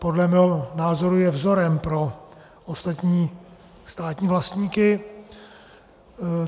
Podle mého názoru je vzorem pro ostatní státní vlastníky.